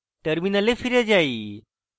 terminal ফিরে যাই